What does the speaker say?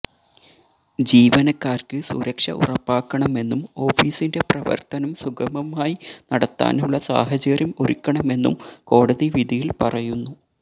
ജീവനക്കാര്ക്ക് സുരക്ഷ ഉറപ്പാക്കണമെന്നും ഓഫീസിന്റെ പ്രവര്ത്തനം സുഗമമായി നടത്താനുള്ള സാഹചര്യം ഒരുക്കണമെന്നും കോടതി വിധിയില് പറയുന്നു